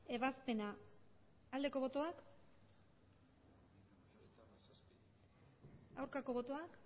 ebazpena aldeko botoak aurkako botoak